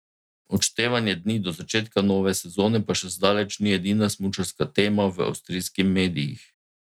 Odštevanje dni do začetka nove sezone pa še zdaleč ni edina smučarska tema v avstrijskim medijih.